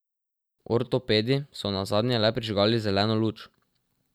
Ortopedi so nazadnje le prižgali zeleno luč.